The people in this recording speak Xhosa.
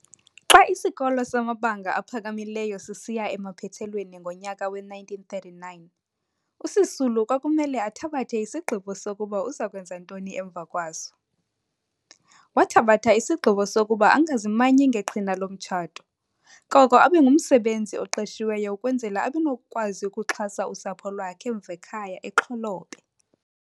Xa isikolo samabanga aphakamileyo sisiya emaphethelweni ngomnyaka we-1939 uSisulu kwakumele athabathe isigqibo sokuba uzakwenza ntoni emva kwaso. Wathabatha isigqibo sokuba angazimanyi ngeqhina lomtshato koko abengumsebenzi oqeqeshiweyo ukwenzela abenokukwazi ukuxhasa usapho lwakhe emv' ekhay' eXholobe.